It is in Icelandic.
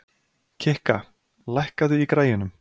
Kikka, lækkaðu í græjunum.